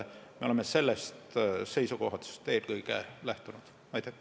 Me oleme lähtunud eelkõige sellest seisukohast.